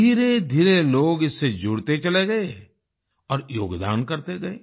धीरेधीरे लोग इससे जुड़ते चले गए और योगदान करते गए